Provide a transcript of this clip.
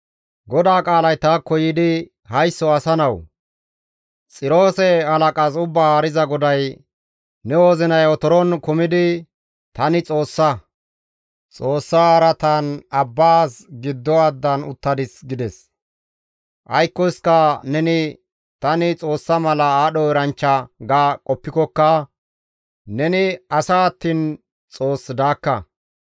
«Haysso asa nawu! Xiroose halaqas Ubbaa Haariza GODAY: «Ne wozinay otoron kumidi, ‹Tani xoossa; xoossa araatan abbaas giddo addan uttadis› gides. Aykkoska neni tani xoossa mala aadho eranchcha ga qoppikokka neni asa attiin xoos daakka.